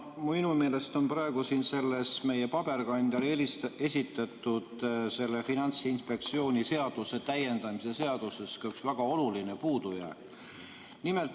Minu meelest on praegu siin selles paberkandjal esitatud Finantsinspektsiooni seaduse täiendamise seaduse eelnõus üks väga oluline puudujääk.